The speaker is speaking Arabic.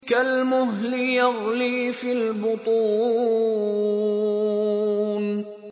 كَالْمُهْلِ يَغْلِي فِي الْبُطُونِ